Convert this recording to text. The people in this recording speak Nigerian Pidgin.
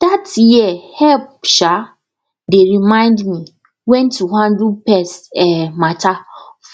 that year help um dey remind me when to handle pest um matter